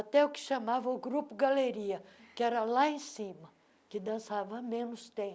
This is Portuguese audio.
Até o que chamava o grupo galeria, que era lá em cima, que dançava menos tempo.